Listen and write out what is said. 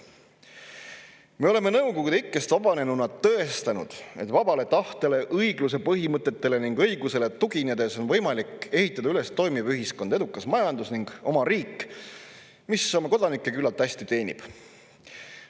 Me oleme Nõukogude ikkest vabanenuna tõestanud, et vabale tahtele, õigluse põhimõtetele ning õigusele tuginedes on võimalik ehitada üles toimiv ühiskond, edukas majandus ning oma riik, mis oma kodanikke küllalt hästi teenib.